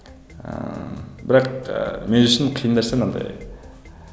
ыыы бірақ мен үшін қиын нәрсе мынандай